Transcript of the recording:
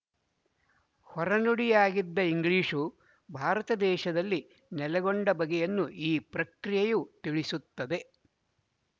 ಹೊರ ನುಡಿಯಾಗಿದ್ದ ಇಂಗ್ಲಿಶು ಭಾರತ ದೇಶದಲ್ಲಿ ನೆಲೆಗೊಂಡ ಬಗೆಯನ್ನು ಈ ಪ್ರಕ್ರಿಯೆಯು ತಿಳಿಸುತ್ತದೆ